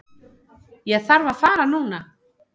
Ég þarf að fara núna